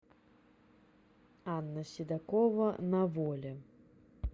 анна седокова на воле